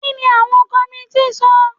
Kí ni àwọn kọmití sọ?